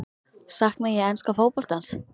Sakna ég enska fótboltans?